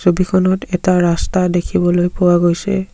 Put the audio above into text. ছবিখনত এটা ৰাস্তা দেখিবলৈ পোৱা গৈছে।